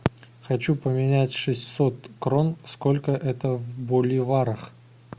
хочу поменять шестьсот крон сколько это в боливарах